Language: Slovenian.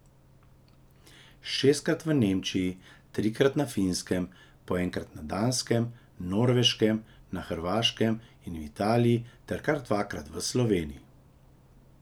Šestkrat v Nemčiji, trikrat na Finskem, po enkrat na Danskem, Norveškem, na Hrvaškem in v Italiji ter kar dvakrat v Sloveniji.